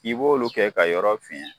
K'i b'olu kɛ ka yɔrɔ fiyɛn.